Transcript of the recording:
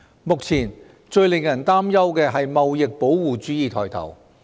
目前，最令人擔憂的是貿易保護主義抬頭。